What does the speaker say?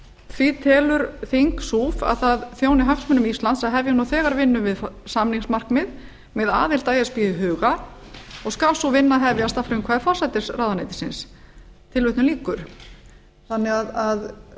því telur þing suf að það þjóni hagsmunum íslands að hefja nú þegar vinnu við samningsmarkmið með aðild að e s b í huga og skal sú vinna hefjast að frumkvæði forsætisráðuneytisins ungliðarnir